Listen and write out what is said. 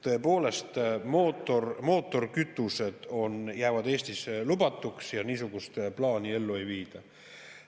" Tõepoolest, mootorikütused jäävad Eestis lubatuks ja niisugust plaani ellu ei viida.